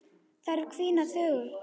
Þær hvína þöglar.